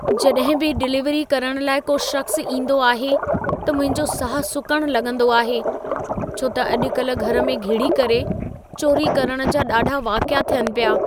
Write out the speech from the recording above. जॾहिं बि डिलीवरी करण लाइ को शख़्सु ईंदो आहे, त मुंहिंजो साहु सुकण लॻंदो आहे, छो त अॼु-कल घर में घिड़ी करे चौरी करण जा ॾाढा वाक़िया थियनि पिया!